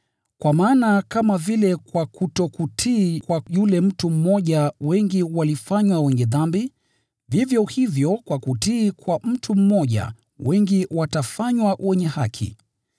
Kwa maana kama vile kwa kutokutii kwa yule mtu mmoja wengi walifanywa wenye dhambi, vivyo hivyo kwa kutii kwa mtu mmoja wengi watafanywa wenye haki.